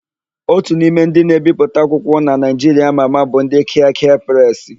Ótù n'ime ndị na-ebipụta akwụkwọ na Naịjiria ama ama bụ ndị Kịakịa Presị.